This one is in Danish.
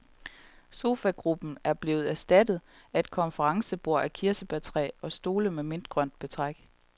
Sofagruppen er blevet erstattet af et konferencebord af kirsebærtræ og stole med mintgrønt betræk.